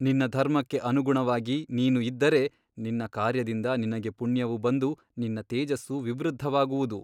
ನಿನ್ನ ಧರ್ಮಕ್ಕೆ ಅನುಗುಣವಾಗಿ ನೀನು ಇದ್ದರೆ ನಿನ್ನ ಕಾರ್ಯದಿಂದ ನಿನಗೆ ಪುಣ್ಯವು ಬಂದು ನಿನ್ನ ತೇಜಸ್ಸು ವಿವೃದ್ಧವಾಗುವುದು.